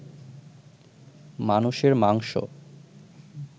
মানুষের মাংস